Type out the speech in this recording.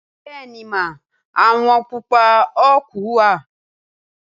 Bẹẹni ma, awọn pupa oaku wa.